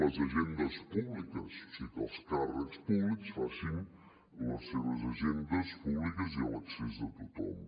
les agendes públiques o sigui que els càrrecs públics facin les seves agendes públiques i a l’accés de tothom